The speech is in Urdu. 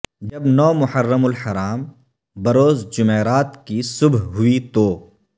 جب نو محرم الحرام بروز جمعرات کی صبح ہوئی تو